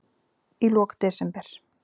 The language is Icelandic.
Í lok desember